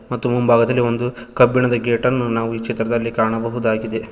ಮತ್ತು ಮುಂಭಾಗದಲಿ ಒಂದು ಕಬ್ಬಿಣದ ಗೇಟನ್ನು ನಾವು ಈ ಚಿತ್ರದಲ್ಲಿ ಕಾಣಬಹುದಾಗಿದೆ.